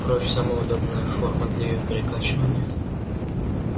кровь самая удобная форма для её перекачивания